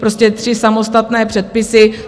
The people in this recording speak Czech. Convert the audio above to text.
Prostě tři samostatné předpisy;